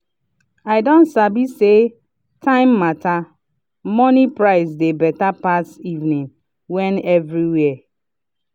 i don sabi say time matter – morning price dey better pass evening when everywhere.